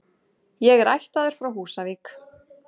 Ég er ættaður frá Húsavík.